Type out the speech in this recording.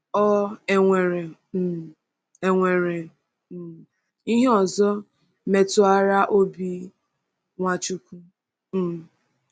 Ọ̀ e nwere um e nwere um ihe ọzọ metụrụara obi Nwachukwu? um